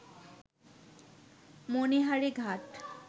মণিহারী ঘাট